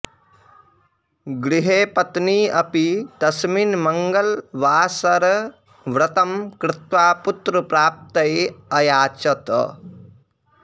गृहे पत्नी अपि तस्मिन् मङ्गलवासरव्रतं कृत्वा पुत्रप्राप्तये अयाचत